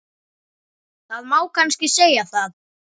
Það má kannski segja það.